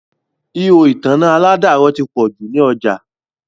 Ihò ìtanná àládàrọ̀ ti pọ̀ jù ní ọjà